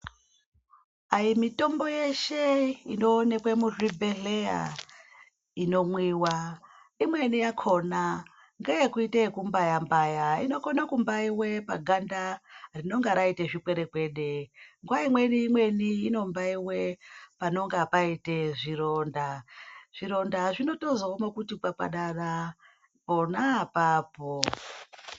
Ayimitombo yeshe inoonekwe muzvibhehleya inomwiwa. Imweni yakona ngeyekuite yekumbaya-mbaya inokone kumbaiwe paganda rinonga raite zvikwerekwede. Nguva imweni imweni inombaiwe panonga paite zvironda. Zvironda zvinotozooma kuti kwakwadara pona apapo.